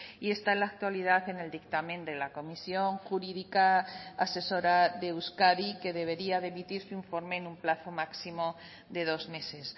y está en la actualidad en el dictamen de la comisión jurídica asesora de euskadi que debería de emitir su informe en un plazo máximo de dos meses